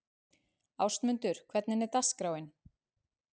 Ástmundur, hvernig er dagskráin?